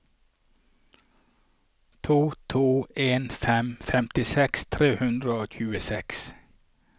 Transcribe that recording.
to to en fem femtiseks tre hundre og tjueseks